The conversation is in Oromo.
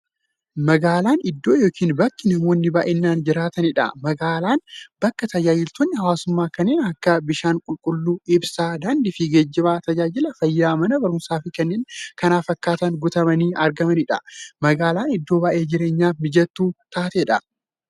Magaalan iddoo yookiin bakka namoonni baay'inaan jiraataniidha. Magaalan bakka taajajilootni hawwaasummaa kanneen akka; bishaan qulqulluu, ibsaa, daandiifi geejjiba, taajajila fayyaa, Mana baruumsaafi kanneen kana fakkatan guutamanii argamaniidha. Magaalan iddoo baay'ee jireenyaf mijattuu taateedha.